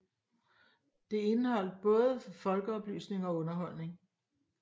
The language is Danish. Det indeholdt både folkeoplysning og underholdning